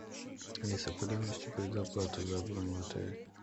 алиса куда внести предоплату за бронь в отель